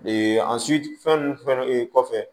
an fɛn ninnu fɛn